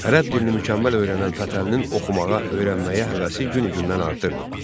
Ərəb dilini mükəmməl öyrənən Fətəlinin oxumağa, öyrənməyə həvəsi günü-gündən artırdı.